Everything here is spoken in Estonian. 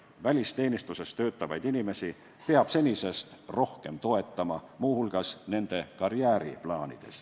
Välisteenistuses töötavaid inimesi peab senisest rohkem toetama, muu hulgas nende karjääriplaanides.